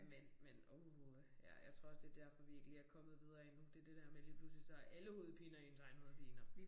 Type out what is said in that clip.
Men men uh ja, jeg tror også det derfor vi ikke lige er kommet videre endnu det det dér med lige pludselig så er alle hovedpiner ens egne hovedpiner